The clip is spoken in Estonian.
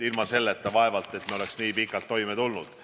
Ilma selleta me vaevalt oleksime nii pikalt toime tulnud.